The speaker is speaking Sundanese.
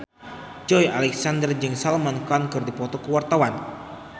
Joey Alexander jeung Salman Khan keur dipoto ku wartawan